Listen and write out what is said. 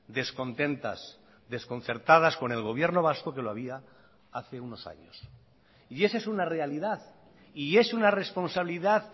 descontentas desconcertadas con el gobierno vasco que lo había hace unos años y esa es una realidad y es una responsabilidad